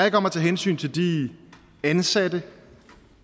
ikke om at tage hensyn til de ansatte